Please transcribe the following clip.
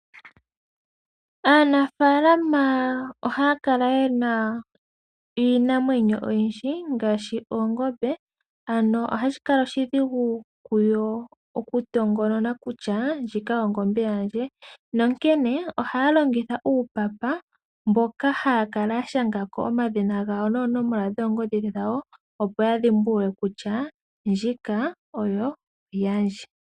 Aanafaalama ohaya kala yena iinamwenyo oyindji ngaashi oongombe, ano ohashi kala oshidhigu kuyo okutongonona kutya ndjino ongombe yandje , nonkene ohaya longitha uupapa mboka haya kala yashangako omashina gawo noonomola dhoongodhi dhawo, opo yadhimbulule kutya ndjino oyo yandje.